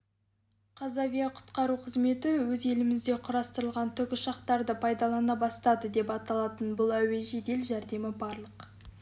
қазавияқұтқару қызметі ез елімізде құрастырылған тікұшақтарды пайдалана бастады деп аталатын бұл әуе жедел жәрдемі барлық